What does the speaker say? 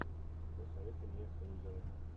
посоветуй мне лузера